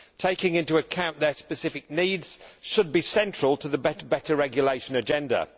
Taking into account their specific needs should be central to the better regulation agenda.